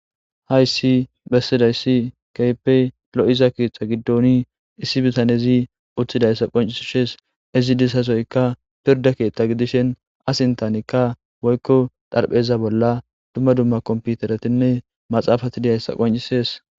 Hayisi besidayisi kehippi loìzada ketha gidoni issi bitanezi utidayissa qoncisidezi. Izi dizadoyi piridde ketha gidishin aa sinthanika woyikko xaripheza bolla duma duma kompiteretine maxafati deîzayisa qoncisesi.